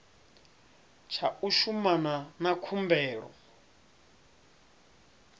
tsha u shumana na khumbelo